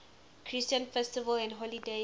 christian festivals and holy days